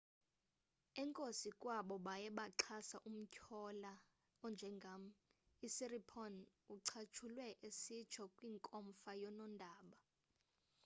enkosi kwabo baye baxhasa umtyholwa onjengam usiripon ucatshulwe esitsho kwinkomfa yonondaba